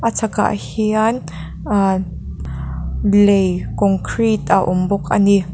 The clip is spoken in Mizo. chhakah hian ahh lei concrete a awm bawk a ni.